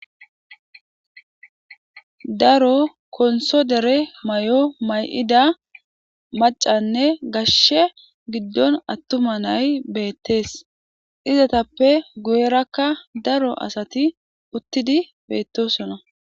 Daaro konththo deere mayo mayida maccanne gashshe giddon attuma na'ay bettes izzetappe guyerakka daaro asati uttidi bettosona.